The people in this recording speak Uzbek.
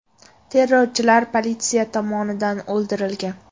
Terrorchilar politsiya tomonidan o‘ldirilgan.